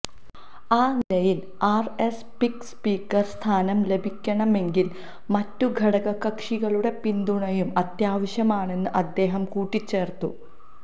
ആ നിലയില് R S പിക്ക് സ്പീക്കര് സ്ഥാനം ലഭിക്കണമെങ്കില് മറ്റു ഘടകകക്ഷികളുടെ പിന്തുണയും അത്യാവശ്യമാണെന്ന് അദ്ദേഹം കൂട്ടിച്ചേര്ത്തു